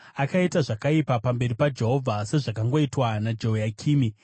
Akaita zvakaipa pamberi paJehovha, sezvakangoitwa naJehoyakimi.